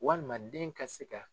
Walima den ka se ka